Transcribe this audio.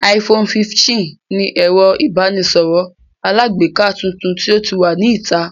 iPhone 15 ni ẹ̀rọ ìbánisọ̀rọ̀ alágbèéká tuntun tí ó wà ní ìta